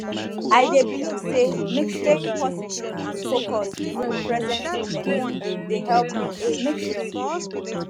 i dey believe say staying positive and focused on di present moment dey help you age gracefully